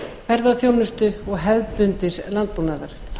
ferðaþjónustu og hefðbundins landbúnaðar